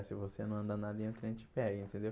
Se você não andar na linha, o trem te pega, entendeu?